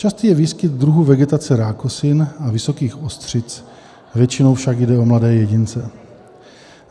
Častý je výskyt druhů vegetace rákosin a vysokých ostřic, většinou však jde o mladé jedince.